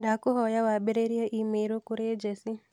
Ndakũhoya wambĩrĩrie i-mīrū kũrĩ Jesse